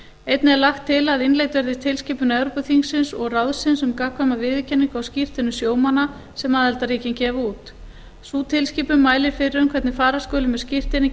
einnig er lagt til að innleidd verði tilskipun evrópuþingsins og ráðsins um gagnkvæma viðurkenningu á skírteinum sjómanna sem aðildarríkin gefa út sú tilskipun mælir fyrir um hvernig fara skuli með skírteini